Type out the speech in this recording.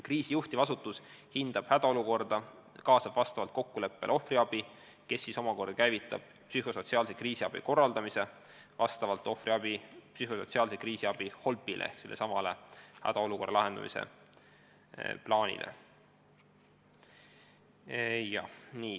Kriisi juhtiv asutus hindab hädaolukorda ja kaasab vastavalt kokkuleppele ohvriabi, kes siis omakorda käivitab psühhosotsiaalse kriisiabi korraldamise vastavalt ohvriabi psühhosotsiaalse kriisiabi HOLP-ile ehk hädaolukorra lahendamise plaanile.